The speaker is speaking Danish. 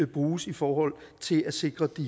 bruges i forhold til at sikre de